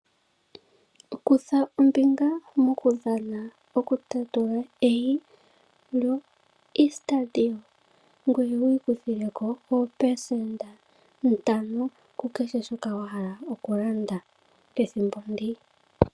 Kutha ombinga, mokudhana okutatula eyi, lyoEaster day, ngoye wu ikuthile ko oopelesenda ntano, ku kehe shoka wa hala okulanda pethimbo ndi.